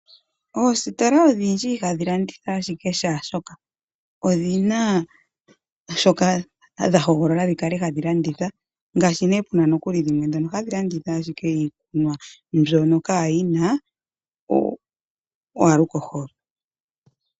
Oositola odhindji ihadhi landitha ashike shaashoka, odhina shoka dha hogolola dhi kale hadi landitha, ngaashi ndhoka hadhi landitha ashike iikunwa mbyono kaayina iikolitha.